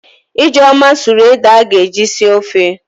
Ijeoma sụrụ ede a ga-eji sie ofe.